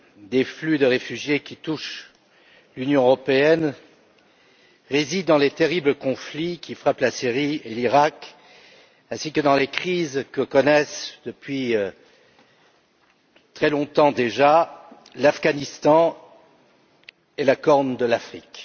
des flux de réfugiés qui touchent l'Union européenne résident dans les terribles conflits qui frappent la Syrie et l'Iraq ainsi que dans les crises que connaissent depuis très longtemps déjà l'Afghanistan et la Corne de l'Afrique.